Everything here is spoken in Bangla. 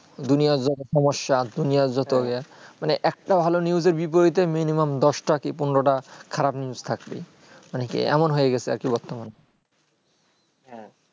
দুনিয়ার যত সমস্যা দুনিয়ার যত ইয়ে মানে একটা ভালো news বিপরীতে minimum দশটা কি পনেরোটা খারাপ news থাকছে মানে কি এমন হয়েগেছে বর্তমানে হ্যাঁ